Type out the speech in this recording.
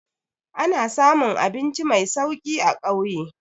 Ana samun abinci mai sauki a ƙauye.